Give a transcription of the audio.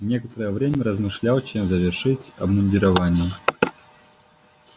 некоторое время размышлял чем завершить обмундирование